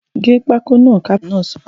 ‘Gé pákó náà’ káfíntà náà sọ̀rọ̀